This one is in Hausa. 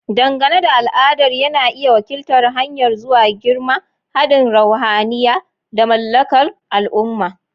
Dangane da al'adar, yana iya wakiltar hanyar zuwa girma, haɗin ruhaniya, da mallakar al'umma.